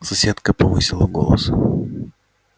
соседка повысила голос